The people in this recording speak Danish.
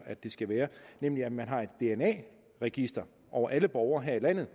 det skal være nemlig at man har et dna register over alle borgere her i landet